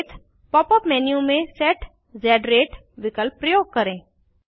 संकेत pop up menu में set ज़ रते विकल्प प्रयोग करें